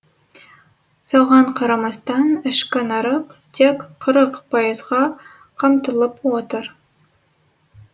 соған қарамастан ішкі нарық тек қырық пайызға қамтылып отыр